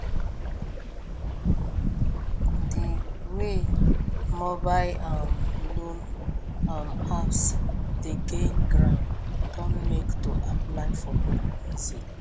di wey mobile um loan um apps dey gain ground don make to apply for loan easy